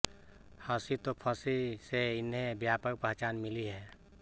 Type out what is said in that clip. हंसी तो फंसी से इन्हें व्यापक पहचान मिली है